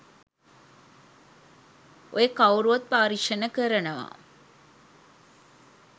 ඔය කව්රුත් පරීක්ෂණ කරනවා